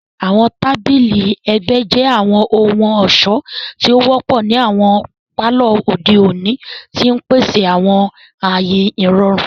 Àwọn tabili ẹgbẹ jẹ àwọn ohun-ọṣọ ti o wọpọ ni awọn palọ ode oni, ti n pese awọn aaye irọrun.